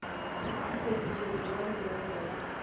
se fetišetšwe ya neelwa ya